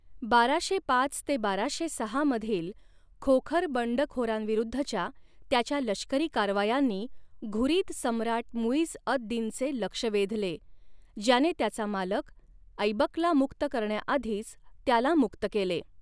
बाराशे पाच बाराशे सहा मधील खोखर बंडखोरांविरुद्धच्या त्याच्या लष्करी कारवायांनी घुरिद सम्राट मुईझ अद दिनचे लक्ष वेधले, ज्याने त्याचा मालक ऐबकला मुक्त करण्याआधीच त्याला मुक्त केले.